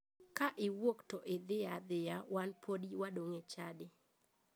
Ka iwuok to dhi adhiya wan podi wadong' e chadi.